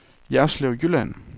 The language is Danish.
Jerslev Jylland